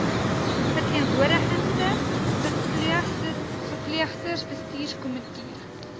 verteenwoordigende verpleegsters bestuurskomitee